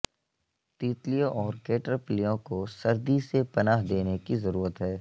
تیتلیوں اور کیٹرپلیوں کو سردی سے پناہ دینے کی ضرورت ہے